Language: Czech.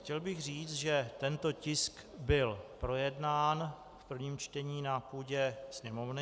Chtěl bych říct, že tento tisk byl projednán v prvním čtení na půdě Sněmovny.